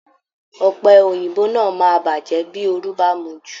Ọ̀pẹ̀ Òyìnbó náà máa bàjẹ́ bí oru bá mú u ju